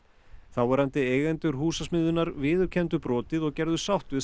þáverandi eigendur Húsasmiðjunnar viðurkenndu brotið og gerðu sátt við